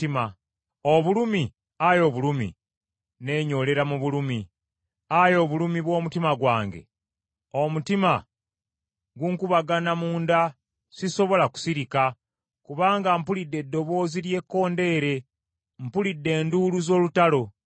Obulumi, Ayi Obulumi! Neenyoolera mu bulumi! Ayi obulumi bw’omutima gwange! Omutima gunkubagana munda, sisobola kusirika, kubanga mpulidde eddoboozi ly’ekkondeere, mpulidde enduulu z’olutalo.